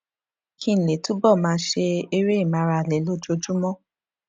kí n lè túbò máa ṣe eré ìmárale lójoojúmó